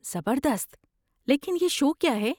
زبردست! لیکن یہ شو کیا ہے؟